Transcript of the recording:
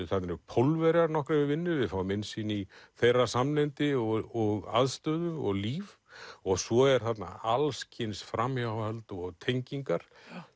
þarna eru Pólverjar nokkrir við vinnu við fáum innsýn í þeirra samneyti og aðstöðu og líf og svo eru þarna allskyns framhjáhöld og tengingar